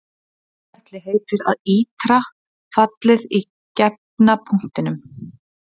Þetta ferli heitir að ítra fallið í gefna punktinum.